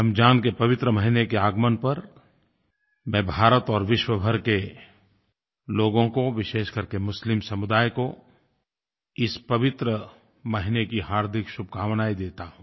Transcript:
रमज़ान के पवित्र महीने के आगमन पर मैं भारत और विश्वभर के लोगों को विशेष करके मुस्लिम समुदाय को इस पवित्र महीने की हार्दिक शुभकामनाएं देता हूँ